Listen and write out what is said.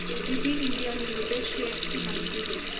ABB India limited shares ची माहिती दे